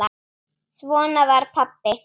Svona var pabbi.